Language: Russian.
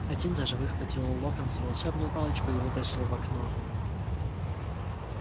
один даже выхватил у локонса волшебную палочку и выбросил в окно